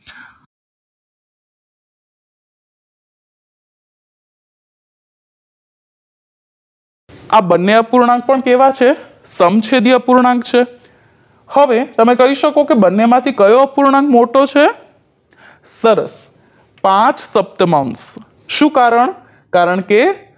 આ બંને અપૂર્ણાંક પણ કેવા છે સમછેદી અપૂર્ણાંક છે હવે તમે કઈ શકો કે બંને માંથી કયો અપૂર્ણાંક મોટો છે સરસ પાંચસપ્તમાંશ શું કારણ કારણકે